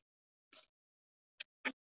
Marólína, hvað er á áætluninni minni í dag?